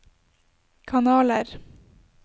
kanaler